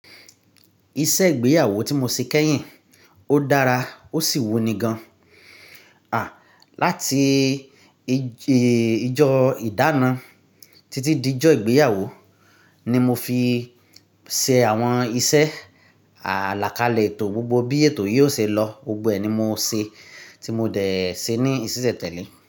Iṣẹ́ ìgbéyàwó tí mo ṣe kẹ́yìn, ó dára ó sì wù ní gan. À, láti ìjọ ìdána títí dé ìjọ ìgbéyàwó ni mo fi ṣe àwọn iṣẹ́. Àlàkalẹ̀ ètò gbogbo bí ètò yìí ó ṣe lọ, gbogbo ẹ̀ ni mo ṣe tí mo dẹ̀ ṣe ní ìsisẹ̀ tẹ́lẹ̀